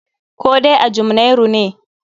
Koh dai a Jumnairu ne?